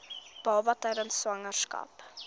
baba tydens swangerskap